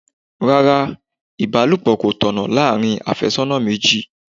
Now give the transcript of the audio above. Rárá, ibalopo kò tọ̀nà láàárín afésónà méjì.